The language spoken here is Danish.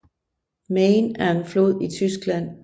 Main er en flod i Tyskland